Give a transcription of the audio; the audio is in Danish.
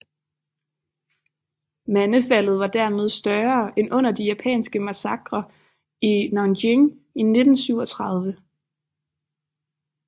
Mandefaldet var dermed større end under de japanske massakrene i Nanjing i 1937